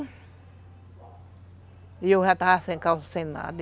E eu já estava sem calça, sem nada.